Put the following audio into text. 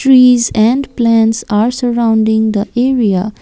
trees and plants are sorrounding the area.